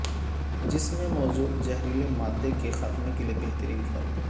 جسم میں موجود زہریلے مادے کے خاتمہ کیلئے بہترین پھل